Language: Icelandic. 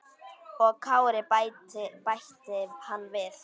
Og Kári, bætti hann við.